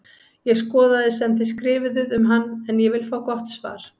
Ég skoðaði sem þið skrifuðuð um hann en ég vil fá gott svar!